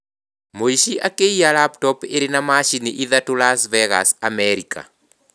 Mũici akĩiya laptop ĩrĩ na macini ithatũ Las Vegas, Amerika